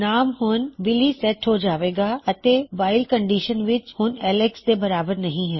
ਨਾਮ ਹੁਣ ਬਿਲੀ ਸੇਟ ਹੋ ਜਾਵੇਗਾ ਅਤੇ ਵਾਇਲ ਕੰਨਡਿਸ਼ਨ ਵਿੱਚ ਹਿਣ ਉਹ ਐੱਲਕਸ ਦੇ ਬਰਾਬਰ ਨਹੀ ਹੈ